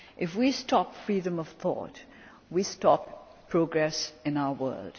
If we stop freedom of thought, we stop progress in our world.